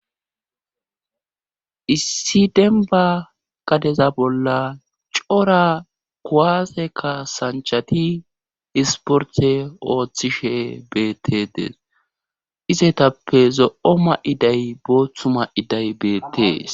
Issi denba gadeza bolla cora koaze ka sanchati isporte ooththishe beettedees izetappe zo7o ma7iday booththu ma7iday beettees